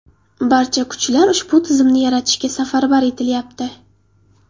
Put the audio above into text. Barcha kuchlar ushbu tizimni yaratishga safarbar etilyapti.